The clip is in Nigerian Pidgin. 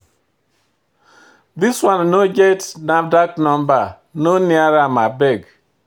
This one no get NAFDAC number; no near am abeg.